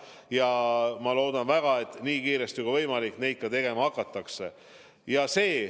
Ja ma loodan väga, et nii kiiresti, kui on võimalik, seda ka tegema hakatakse.